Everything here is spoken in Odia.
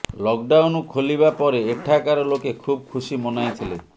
ଲକଡାଉନ୍ ଖୋଲିବା ପରେ ଏଠାକାର ଲୋକେ ଖୁବ୍ ଖୁସି ମନାଇଥିଲେ